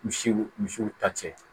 Misiw misiw ta cɛ